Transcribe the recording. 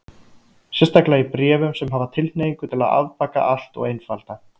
Sérstaklega í bréfum sem hafa tilhneigingu til að afbaka allt og einfalda.